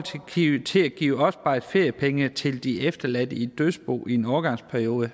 til at give opsparede feriepenge til de efterladte i et dødsbo i en overgangsperiode